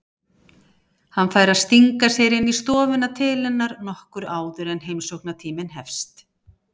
Hann fær að stinga sér inn í stofuna til hennar nokkru áður en heimsóknartíminn hefst.